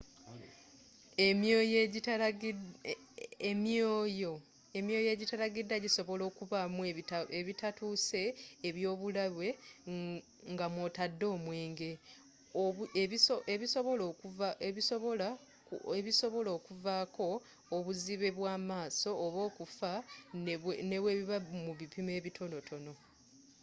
emyoyo egitalagidwa gisobola okubaamu ebitatuuse ebyobulabe ngamwotadde omwenge ebisobola kuvaako obuzibe bwamaaso oba okufa nebwebiba mu bipimo ebitonotono